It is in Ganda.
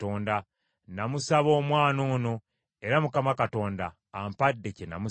Namusaba omwana ono, era Mukama Katonda ampadde kye namusaba.